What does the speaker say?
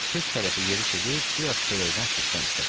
Köç tərəfi yeriş edib biraz çörəkdən süddən istədik.